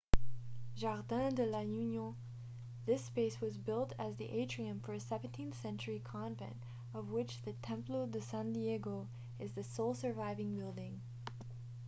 jardín de la unión. this space was built as the atrium for a 17th-century convent of which the templo de san diego is the sole surviving building